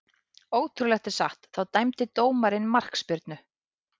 Ótrúlegt en satt, þá dæmdi dómarinn markspyrnu.